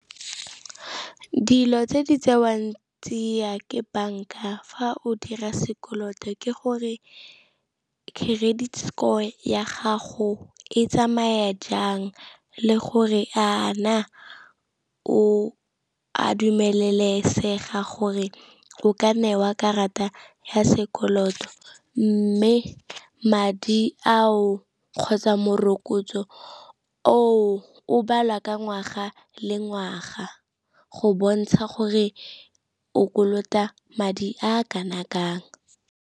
Dilo tse di tsewang tsia ke banka fa o dira sekoloto, ke gore credit score ya gago e tsamaya jang le gore a na o a dumelesegeng gore o ka newa karata ya sekoloto. Mme madi ao kgotsa morokotso o of balwa ka ngwaga le ngwaga, go bontsha gore o kolota madi a kana kang.